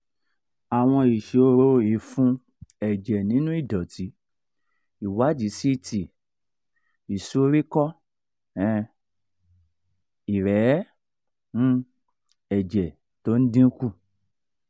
àwọn ìṣòro ìfun ẹ̀jẹ̀ nínú ìdọ̀tí ìwádìí ct ìsoríkọ́ um ìrẹ̀ẹ́ um ẹ̀jẹ̀ tó ń dín kù